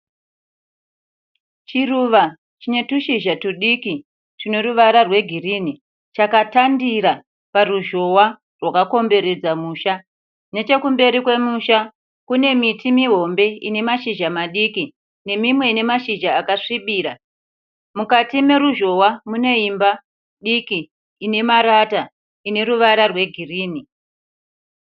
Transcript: Chiruva chine tushizha tudiki tune ruvara rwegirini chakatandira paruzhowa rwaka komberedza musha. Nechekumberi kwemusha kune miti muhombe ine mashizha madiki nemimwe ine mashizha akasvibira. Mukati meruzhowa mune imba diki ine marata ine ruvara rwegirini.